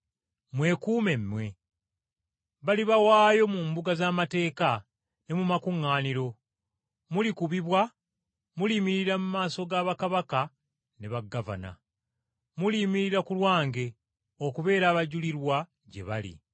“Mwekuume mmwe. Balibawaayo mu mbuga z’amateeka ne mu makuŋŋaaniro, mulikubibwa, muliyimirira mu maaso ga bakabaka ne bagavana. Muliyimirira ku lwange, okubeera abajulirwa gye bali.